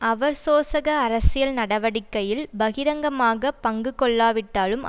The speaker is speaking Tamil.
அவர் சோசக அரசியல் நடவடிக்கையில் பகிரங்கமாக பங்குகொள்ளாவிட்டாலும்